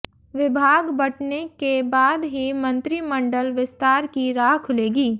विभाग बंटने के बाद ही मंत्रिमंडल विस्तार की राह खुलेगी